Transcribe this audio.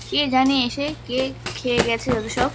কে জানে এসে কে খেয়ে গেছে যতসব।